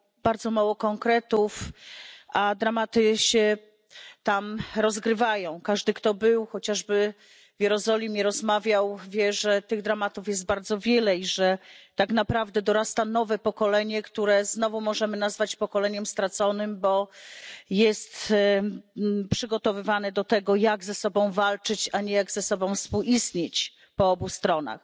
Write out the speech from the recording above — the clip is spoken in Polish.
Bardzo mało konkretów, a tam rozgrywają się dramaty. Każdy, kto był chociażby w Jerozolimie, rozmawiał, wie, że tych dramatów jest bardzo wiele i że tak naprawdę dorasta nowe pokolenie, które znowu możemy nazwać pokoleniem straconym, bo jest przygotowywane do tego, jak ze sobą walczyć, a nie jak ze sobą współistnieć po obu stronach.